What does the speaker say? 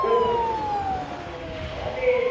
Como professor, nunca mais ouvi falar dele.